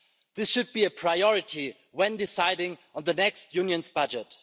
This should be a priority when deciding on the next Union budget.